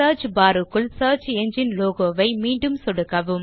search bar இல் search engine logo மீது மீண்டும் சொடுக்கவும்